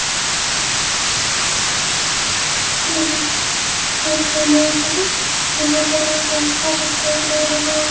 इस इमेज में यहां पर एक रास्ता दिखाई दे रहा --